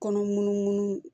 Kɔnɔ munun munu